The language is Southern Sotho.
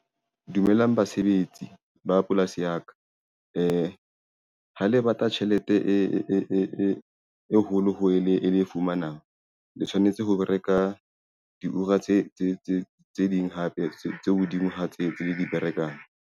Dumelang basebetsi ba polasi ya ka ha le batla tjhelete e holo ho e le fumanang. Le tshwanetse ho bereka di tse ding hape tse hodima ha tse tse le di berekang.